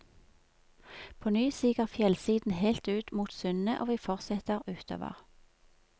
Påny siger fjellsiden helt ut mot sundet og vi fortsetter utover.